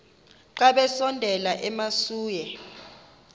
xa besondela emasuie